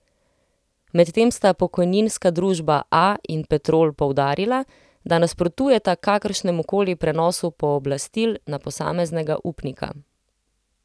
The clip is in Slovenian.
Medtem sta Pokojninska družba A in Petrol poudarila, da nasprotujeta kakršnemukoli prenosu pooblastil na posameznega upnika.